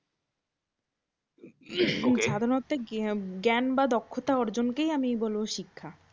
এবং সাধারণ অর্থে জ্ঞান বা দক্ষতা অর্জনকেই আমি বলবো শিক্ষা।